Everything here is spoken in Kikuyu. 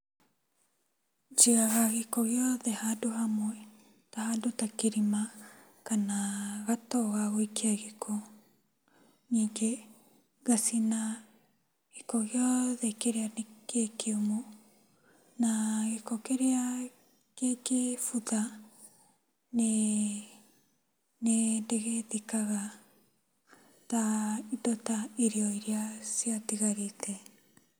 Njigaga gĩko gĩothe handũ hamwe, ta handũ ta kĩrima kana gatoo gagũikia gĩko. Nyingĩ, ngacina gĩkĩ gĩothe kĩria nĩ gĩkĩũmũ, na gĩko kĩrĩa kĩngĩbutha nĩ ndĩgĩthikaga ta, indo ta irio iria ciatigarĩte.